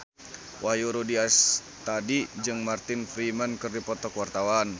Wahyu Rudi Astadi jeung Martin Freeman keur dipoto ku wartawan